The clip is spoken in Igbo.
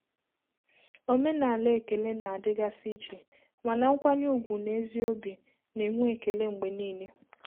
Omenala ekele na-adịgasị iche, mana nkwanye ùgwù na ezi obi na-enwe ekele mgbe niile.